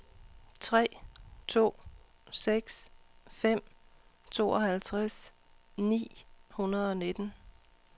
tre to seks fem tooghalvtreds ni hundrede og nitten